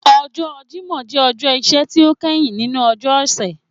Ọjọ Jimọ jẹ ọjọ iṣẹ ti o kẹhin ninu ọjọ ọsẹ.